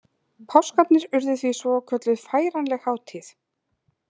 Páskarnir urðu því svokölluð færanleg hátíð.